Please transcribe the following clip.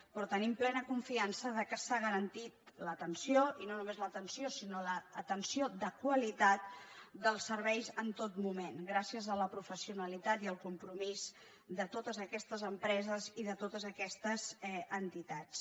però tenim plena confiança que s’ha garantit l’atenció i no només l’atenció sinó l’atenció de qualitat dels serveis en tot moment gràcies a la pro·fessionalitat i al compromís de totes aquestes empreses i de totes aquestes entitats